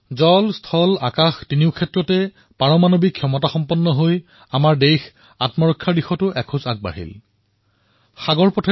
এই বৰ্ষতে আমাৰ দেশে সফলতাৰে নিউক্লিয়াৰ ট্ৰায়েড সম্পূৰ্ণ কৰিলে অৰ্থাৎ এতিয়া আমি জল থল আৰু নভ তিনিওটাতে পৰমাণুশক্তি সম্পন্ন হৈ উঠিলো